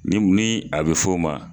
Ni min a bɛ fɔ o ma